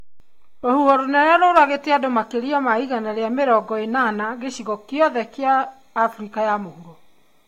Rũhuho rũnene rũragite andũ makĩria ma igana ria mirongo ĩnana gĩcigo gĩothe kĩa wa Afrika ya mũhuro